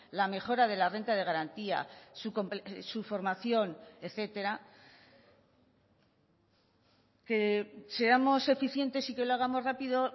la mejora de la renta de garantía su formación etcétera que seamos eficientes y que lo hagamos rápido